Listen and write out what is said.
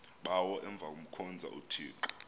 bawo avemkhonza uthixo